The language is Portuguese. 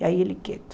E aí ele quieto.